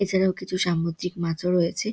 এছাড়াও কিছু সামুদ্রিক মাছও রয়েছে--